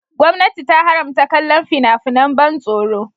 Gwamnati ta haramta kallon fina-finan ban tsoro.